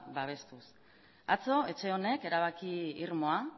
babestuz atzo etxe honek erabaki irmoa